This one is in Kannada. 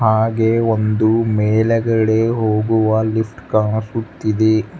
ಹಾಗೆ ಒಂದು ಮೇಲೆಗಡೆ ಹೋಗುವ ಲಿಫ್ಟ್ ಕಾಣಿಸುತ್ತಿದೆ.